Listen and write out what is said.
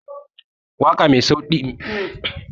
Waƙa mai sauti kaɗan ta na taimaka wa yara wurin yin barci